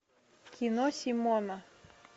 кино симона